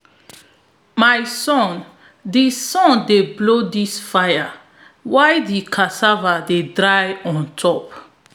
my son dey son dey blow di fire while di cassava dey dry on top